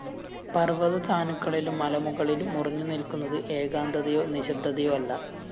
പര്‍വതസാനുക്കളിലും മലമുകളിലും ഉറഞ്ഞുനില്‍ക്കുന്നത് ഏകാന്തതയോ നിശ്ശബ്ദതയോ അല്ല